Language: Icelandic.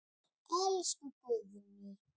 Elsku Guðný.